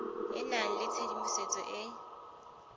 e nang le tshedimosetso e